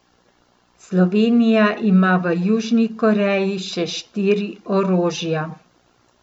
Slovenija ima v Južni Koreji še štiri orožja.